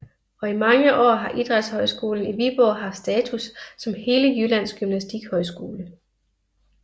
Og i mange år har Idrætshøjskolen i Viborg haft status som hele Jyllands gymnastikhøjskole